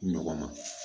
Ɲɔgɔn ma